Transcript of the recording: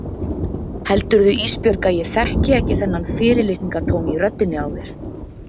Heldurðu Ísbjörg að ég þekki ekki þennan fyrirlitningartón í röddinni á þér?